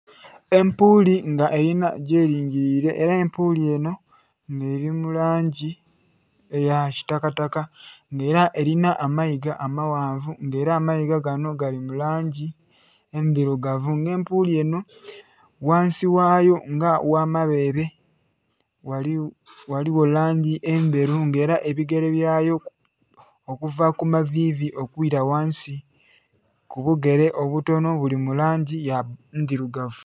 Empuli nga erinha gyeringirire era empuli enho nga erimulangi eyakitaka kata nga era erinha amayiga amaghanvu nga era amayiga ganho galimulangi endhilugavu, nga empuli enho ghansi ghayo nga ghamberi ghaligho langi endheru nga era ebigere byayo okuva kumavivi okwira ghansi kubugere obutonho bulimulangi ndhirugavu.